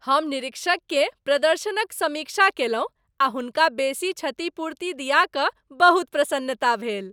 हम निरीक्षक केर प्रदर्शनक समीक्षा कयलहुँ आ हुनका बेसी क्षतिपूर्ति दिया कऽ बहुत प्रसन्नता भेल।